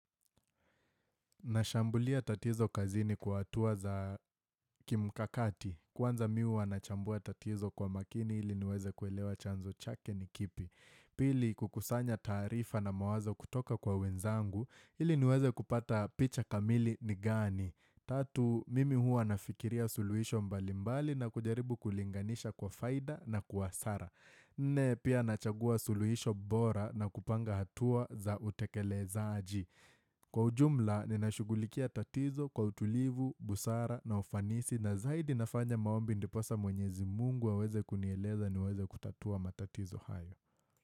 Nashambulia tatizo kazini kwa hatua za kimkakati. Kwanza mi hua nachambua tatizo kwa makini ili niweze kuelewa chanzo chake ni kipi. Pili kukusanya taarifa na mawazo kutoka kwa wenzangu ili niweze kupata picha kamili ni gani. Tatu mimi hua nafikiria suluhisho mbalimbali na kujaribu kulinganisha kwa faida na kwa hasara. Naye pia anachagua suluhisho bora na kupanga hatua za utekelezaji. Kwa ujumla, ninashughulikia tatizo kwa utulivu, busara na ufanisi na zaidi nafanya maombi ndiposa mwenyezi mungu aweze kunieleza niweze kutatua matatizo hayo.